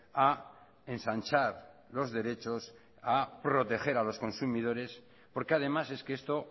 a ensanchar los derechos a proteger a los consumidores porque además es que esto